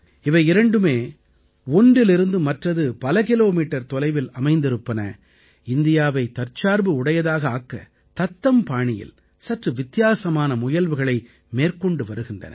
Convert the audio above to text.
இவை இரண்டுமே ஒன்றிலிருந்து மற்றது பல கிலோமீட்டர் தொலைவில் அமைந்திருப்பன இந்தியாவை தற்சார்பு உடையதாக ஆக்க தத்தம் பாணியில் சற்று வித்தியாசமான முயல்வுகளை மேற்கொண்டு வருகின்றன